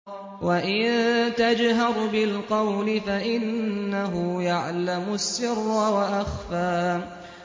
وَإِن تَجْهَرْ بِالْقَوْلِ فَإِنَّهُ يَعْلَمُ السِّرَّ وَأَخْفَى